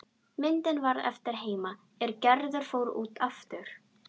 Myndin varð eftir heima er Gerður fór út aftur.